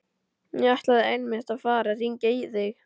Ég ætlaði einmitt að fara að hringja í þig.